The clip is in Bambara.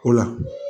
O la